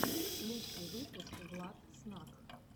лучший выпуск влад снак